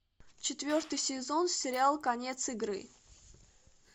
четвертый сезон сериал конец игры